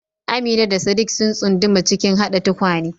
Amina da Sadiq sun tsunduma cikin haɗa tukwane.